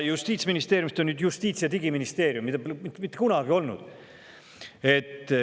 Justiitsministeeriumist on nüüd saanud justiits- ja digiministeerium, mida pole mitte kunagi olnud.